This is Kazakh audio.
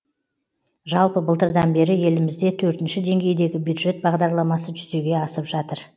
жалпы былтырдан бері елімізде төртінші денгейдегі бюджет бағдарламасы жүзеге асып жатыр